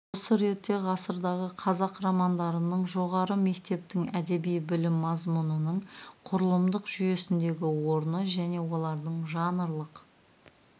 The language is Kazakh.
осы ретте ғасырдағы қазақ романдарының жоғары мектептің әдеби білім мазмұнының құрылымдық жүйесіндегі орны және олардың жанрлық